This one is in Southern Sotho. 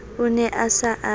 o ne a sa a